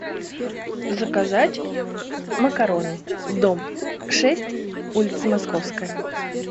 заказать макароны дом шесть улица московская